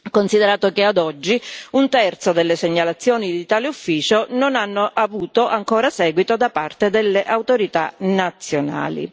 considerato che, ad oggi, un terzo delle segnalazioni di tale Ufficio non ha ancora avuto un seguito da parte delle autorità nazionali.